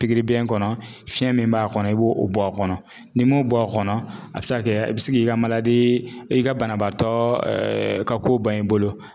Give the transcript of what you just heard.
ɲkɔnɔ fiɲɛ min b'a kɔnɔ i b'o bɔ a kɔnɔ n'i m'o bɔ a kɔnɔ a bɛ se ka kɛ i bɛ se k'i ka i ka banabaatɔ ka ko ban i bolo.